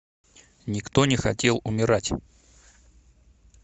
никто не хотел умирать